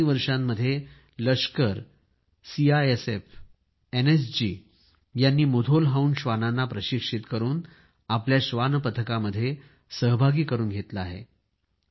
गेल्या काही काळामध्ये लष्कर सीआयएसएफ एनएसजी यांनी मुधोल हाउंड श्वानांना प्रशिक्षित करून श्वान पथकामध्ये सहभागी करून घेतले आहे